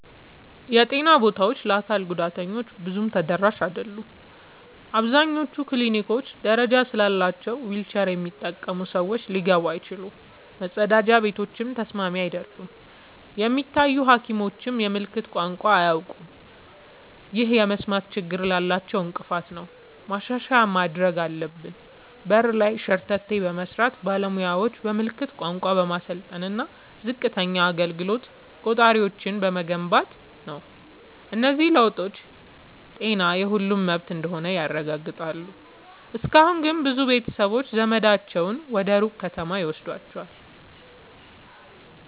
የጤና ቦታዎች ለአካል ጉዳተኞች ብዙም ተደራሽ አይደሉም። አብዛኞቹ ክሊኒኮች ደረጃ ስላላቸው ዊልቸር የሚጠቀሙ ሰዎች ሊገቡ አይችሉም፤ መጸዳጃ ቤቶችም ተስማሚ አይደሉም። የሚታዩ ሐኪሞችም የምልክት ቋንቋ አያውቁም፣ ይህም የመስማት ችግር ላላቸው እንቅፋት ነው። ማሻሻያ ማድረግ ያለብን በር ላይ ሸርተቴ በመስራት፣ ባለሙያዎችን በምልክት ቋንቋ በማሰልጠን እና ዝቅተኛ አገልግሎት ቆጣሪዎችን በመገንባት ነው። እነዚህ ለውጦች ጤና የሁሉም መብት እንደሆነ ያረጋግጣሉ። እስካሁን ግን ብዙ ቤተሰቦች ዘመዳቸውን ወደ ሩቅ ከተማ ይወስዷቸዋል።